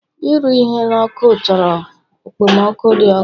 Ịrụ ihe n'ọkụ chọrọ okpomọkụ dị ọkụ